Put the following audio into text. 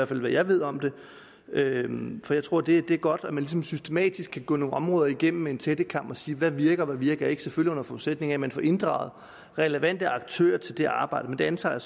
til hvad jeg ved om det for jeg tror det er godt at man ligesom systematisk kan gå nogle områder igennem med en tættekam og sige hvad virker og hvad virker ikke selvfølgelig under forudsætning af at man får inddraget relevante aktører til det arbejde men det antager